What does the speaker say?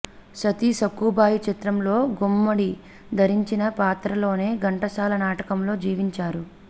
సతీ సక్కుబాయి చిత్రంలో గుమ్మడి ధరించిన పాత్రలోనే ఘంటసాల నాటకంలో జీవించారు